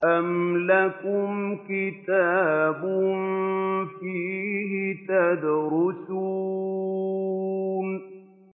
أَمْ لَكُمْ كِتَابٌ فِيهِ تَدْرُسُونَ